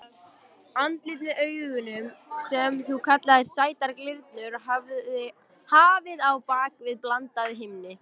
Andlitið með augunum sem þú kallaðir sætar glyrnur og hafið á bak við blandað himni.